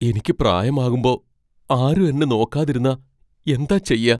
എനിക്ക് പ്രായമാകുമ്പോ ആരും എന്നെ നോക്കാതിരുന്നാ എന്താ ചെയ്യാ?